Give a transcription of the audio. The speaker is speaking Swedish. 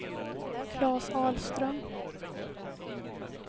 Claes Ahlström